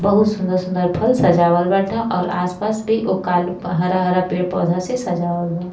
बहुत सुंदर सुंदर फल सजावल बाटे और आसपास भी ओका लु प हरा हरा पेड़ पौधा से सजावल बा।